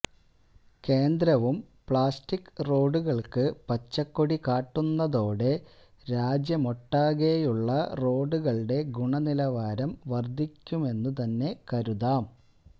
കേന്ദ്രവും പ്ലാസ്റ്റിക് റോഡുകൾക്കു പച്ചക്കൊടി കാട്ടുന്നതോടെ രാജ്യമൊട്ടാകെയുള്ള റോഡുകളുടെ ഗുണനിലവാരം വർധിക്കുമെന്നു തന്നെ കരുതാം